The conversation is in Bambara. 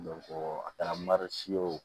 a taara marisew